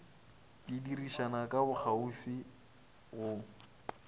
di dirišana ka bokgauswi go